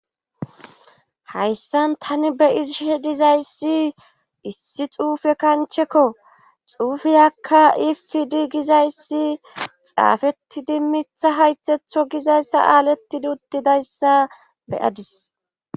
Hayssan tani be7iziahe dizayssi issi xuufe kancheko xuufiyakka ifi di gizayssi xaafettidi mitha haythatho gizay saalettidi uttidayssa be7adis.